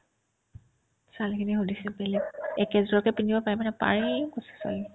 ছোৱালীখিনিক সুধিছে বেলেগ একেজোৰকে পিন্ধিব পাৰিবানে পাৰিম কৈছে ছোৱালীবিলাকে